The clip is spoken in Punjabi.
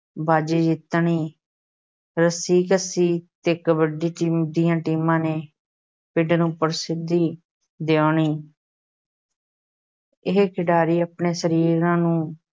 ਬਾਜ਼ੀ ਜਿੱਤਣੀ, ਰੱਸਾ-ਕੁਸ਼ੀ ਤੇ ਕਬੱਡੀ ਦੀਆਂ ਟੀਮਾਂ ਨੇ ਪਿੰਡ ਨੂੰ ਪ੍ਰਸਿੱਧੀ ਦਿਵਾਉਣੀ ਇਹ ਖਿਡਾਰੀ ਆਪਣੇ ਸਰੀਰਾਂ ਨੂੰ